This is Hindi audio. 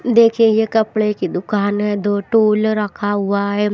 देखिए ये कपड़े की दुकान है दो रखा हुआ है।